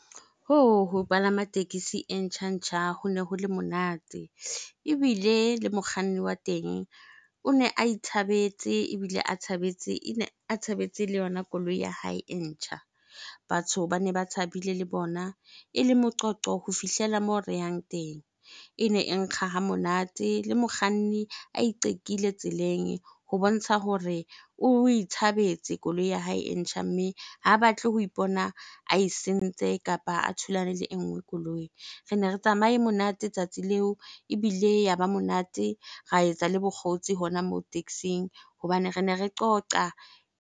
Yoh! Ho palama tekesi e ntjha-ntjha hone ho le monate ebile le mokganni wa teng o ne a ithabetse ebile a thabetse le yona koloi ya hae e ntjha. Batho bane ba thabile le bona, ele moqoqo ho fihlela moo re yang teng. Ene e nkga ha monate le mokganni a iqekile tseleng ho bontsha hore o ithabetse koloi ya hae e ntjha. Mme ha batle ho ipona ae sentse kapa a thulane le e nngwe koloi. Rene re tsamaye monate tsatsi leo ebile ya ba monate, ra etsa le bokgotsi hona moo taxing hobane rene re qoqa.